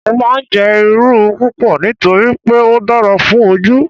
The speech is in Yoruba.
Mo máa ń jẹ́ Irú púpọ̀ nítorí pé ó dára fún Ojú.